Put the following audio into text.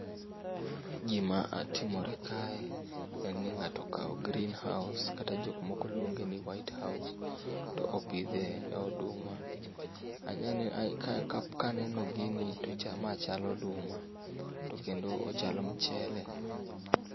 Gima timore kae en ni ngato okao green house kata jomoko luong'eni white house to opithee oduma ang'e ni kae kap kaneno gini to ma chal aduma to kendo ochal mchele